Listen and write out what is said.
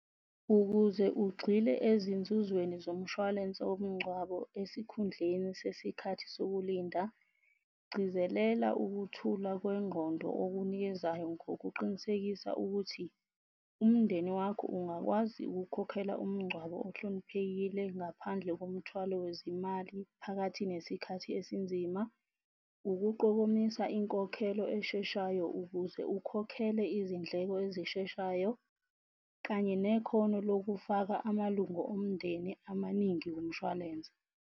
Ukuze ugxile ezinzuzweni zomshwalense womngcwabo esikhundleni sesikhathi sokulinda, gcizelela ukuthula kwengqondo okunikezayo ngokuqinisekisa ukuthi umndeni wakho ungakwazi ukukhokhela umngcwabo ohloniphekile ngaphandle komthwalo wezimali phakathi nesikhathi esinzima, ukuqokomisa inkokhelo esheshayo ukuze ukhokhele izindleko ezisheshayo, kanye nekhono lokufaka amalungo omndeni amaningi kumshwalense.